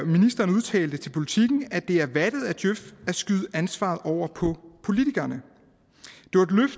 ministeren udtalte til politiken at det er vattet af djøf at skyde ansvaret over på politikerne